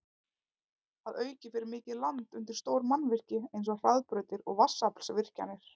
Að auki fer mikið land undir stór mannvirki eins og hraðbrautir og vatnsaflsvirkjanir.